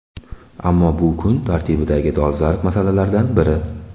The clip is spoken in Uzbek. Ammo bu kun tartibidagi dolzarb masalalardan biri.